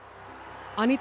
Aníta